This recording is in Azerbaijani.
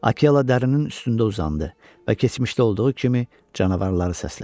Akela dərinin üstündə uzandı və keçmişdə olduğu kimi canavarları səslədi.